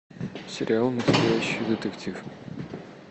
сериал настоящий детектив